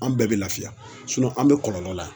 An bɛɛ bi lafiya an be kɔlɔlɔ la.